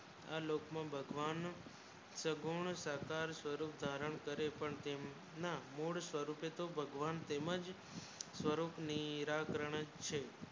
આ લોકમાં ભગવાન શગુન સાકાર રૂપ ધારણ કરે પણ તેમના મૂળ સ્વરૂપે તો ભગવાન તેમનાચ પારો નીરાકરણ છે.